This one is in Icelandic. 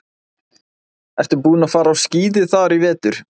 Ertu búinn að fara á skíði þar í vetur?